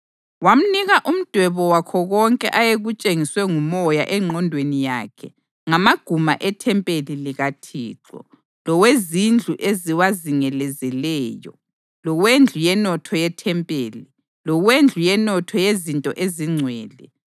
Wamnika umdwebo wakho konke ayekutshengiswe nguMoya engqondweni yakhe ngamaguma ethempeli likaThixo, lowezindlu eziwazingelezeleyo, lowendlu yenotho yethempeli, lowendlu yenotho yezinto ezingcwele.